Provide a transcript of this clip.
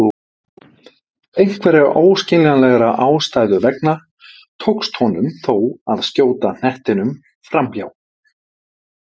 Einhverra óskiljanlegra ástæða vegna tókst honum þó að skjóta knettinum framhjá.